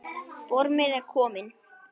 Formið er komið!